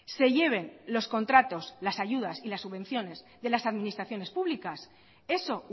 se lleven los contratos las ayudas y las subvenciones de las administraciones públicas eso